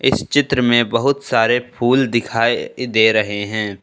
इस चित्र में बहुत सारे फूल दिखाई दे रहे हैं।